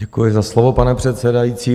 Děkuji za slovo, pane předsedající.